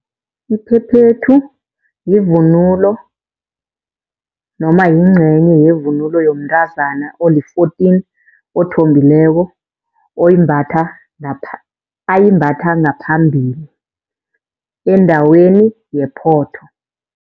Iphephethu, yivunulo noma yincenye yevunulo yomntazana oli-fourteen othombileko. Oyimbatha, ayimbatha ngaphambili endaweni yephotho.